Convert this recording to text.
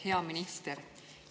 Hea minister!